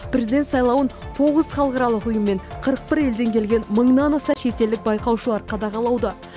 президент сайлауын тоғыз халықаралық ұйым мен қырық бір елден келген мыңнан аса шетелдік байқаушы қадағалауда